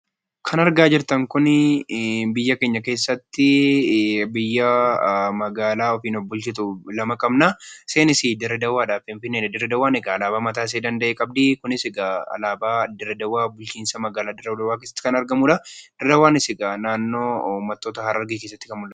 Kan argaa jirtan kuni biyya keenya keessatti biyya yookiin magaalaa ofiin of bulchitu lama qabna. Isaanis Dirre Dawaafi Finfinneedha. Dirre Dawaan egaa alaabaa mataa ishee danda'e qabdi. Kunis egaa alaabaa bulchiinsa magaalaa Dirre Dawaa kan argamudha. Dirre Dawaanis egaa naanno ummattoota Harargee keessatti kan argamtu.